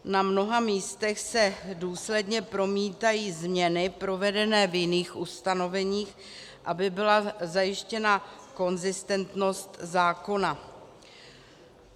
Na mnoha místech se důsledně promítají změny provedené v jiných ustanoveních, aby byla zajištěna konzistentnost zákona.